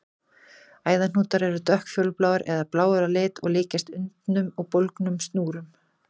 Æðahnútar eru dökkfjólubláir eða bláir á lit og líkjast undnum og bólgnum snúrum.